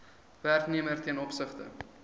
werknemer ten opsigte